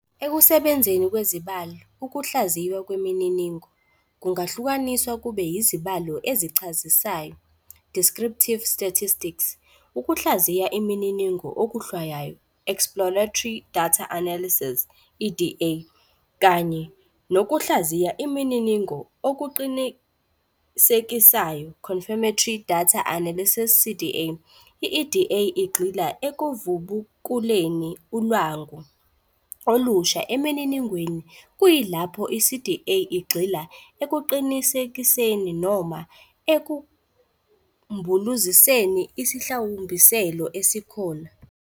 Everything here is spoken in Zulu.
Ekusebenzeni kwezibalo, ukuhlaziywa kwemininingo kungahlukaniswa kube izibalo ezichazisayo ", descriptive statistics, ukuhlaziya imininingo okuhlwayayo ", exploratory data analysis, EDA, kanye nokuhlaziya imininingo okuqinisekisayo ", confirmatory data analysis, CDA,. i-EDA igxila ekuvubukuleni ulwangu olusha emininingweni kuyilapho i-CDA igxila ekuqinisekiseni noma ekumbuluziseni isihlawumbiselo esikhona.